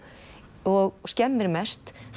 og skemmir mest